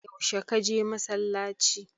Yaushe ka je masallaci?